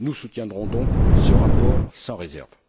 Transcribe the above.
Nous soutiendrons donc ce rapport sans réserve.